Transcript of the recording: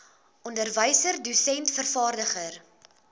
onderwyser dosent vervaardiger